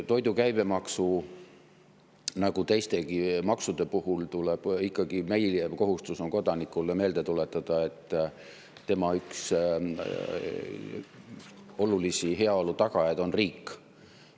Toidu käibemaksu, nagu teistegi maksude puhul tuleb meil ikkagi kodanikule meelde tuletada, et üks olulisi tema heaolu tagajaid on riik.